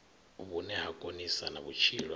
vhune ha konisa na vhutshilo